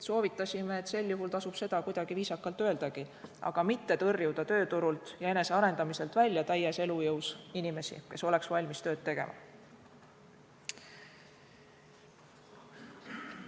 Soovitasime, et sel juhul tasub seda kuidagi viisakalt öeldagi, aga mitte tõrjuda tööturult ja enesearendamiselt välja täies elujõus inimesi, kes oleksid valmis tööd tegema.